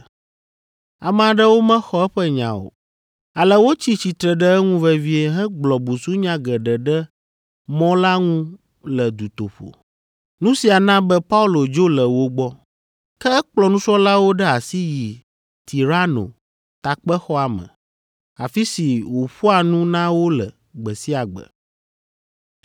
Ame aɖewo mexɔ eƒe nya o, ale wotsi tsitre ɖe eŋu vevie hegblɔ busunya geɖe ɖe Mɔ la ŋu le dutoƒo. Nu sia na be Paulo dzo le wo gbɔ. Ke ekplɔ nusrɔ̃lawo ɖe asi yi Tirano Takpexɔa me, afi si wòƒoa nu na wo le gbe sia gbe.